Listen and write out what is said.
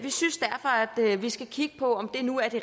vi skal kigge på om det nu er det